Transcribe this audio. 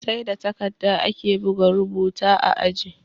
Sai da takadda ake buga rubuta a inji